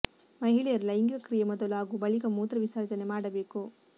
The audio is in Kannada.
ಮಹಿಳೆಯರು ಲೈಂಗಿಕ ಕ್ರಿಯೆ ಮೊದಲು ಹಾಗೂ ಬಳಿಕ ಮೂತ್ರ ವಿಸರ್ಜನೆ ಮಾಡಬೇಕು